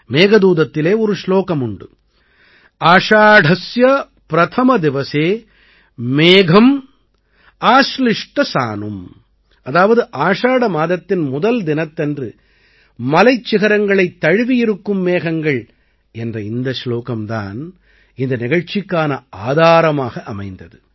மேகதூதத்திலே ஒரு ஸ்லோகம் உண்டு आषाढस्य प्रथम दिवसे मेघम् आश्लिष्ट सानुम् ஆஷாடஸ்ய பிரதம திவஸே மேகம் ஆஸ்லிஷ்ட சானும் அதாவது ஆஷாட மாதத்தின் முதல் தினத்தன்று மலைச் சிகரங்களைத் தழுவியிருக்கும் மேகங்கள் என்ற இந்த ஸ்லோகம் தான் இந்த நிகழ்ச்சிக்கான ஆதாரமாக அமைந்தது